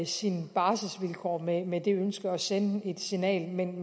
sine barselsvilkår med med det ønske at sende et signal men